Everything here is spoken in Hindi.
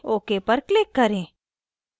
ok पर click करें